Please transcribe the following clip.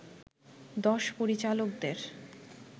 দশ পরিচালকদের